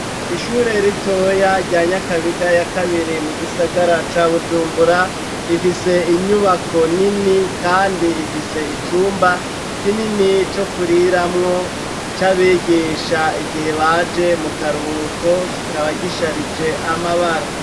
Ishure ritoya rya Nyakabiga ya kabiri mu gisagara ca Bujumbura, rifise inyubako nini kandi ifise icumba kinini co kuriramwo c'abigisha igihe baje mu karuhuko kikaba gisharije amabara.